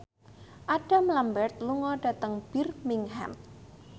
Adam Lambert lunga dhateng Birmingham